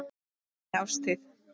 á neinni árstíð.